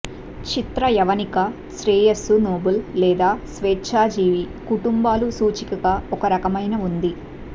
చిత్ర యవనిక శ్రేయస్సు నోబుల్ లేదా స్వేచ్ఛాజీవి కుటుంబాలు సూచికగా ఒక రకమైన ఉంది